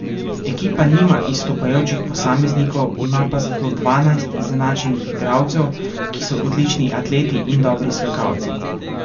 Ekipa nima izstopajočih posameznikov, ima pa zato dvanajst izenačenih igralcev, ki so odlični atleti in dobri skakalci.